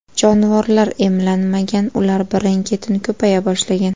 Jonivorlar emlanmagan, ular birin-ketin ko‘paya boshlagan.